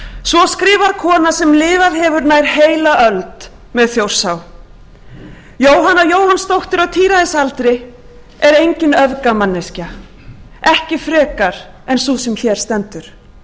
svo skrifar kona sem lifað hefur nær heila öld með þjórsá jóhanna jóhannsdóttir á tíræðisaldri en engin öfgamanneskja ekki frekar en sú sem hér stendur